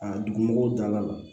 A dugumɔgɔw dala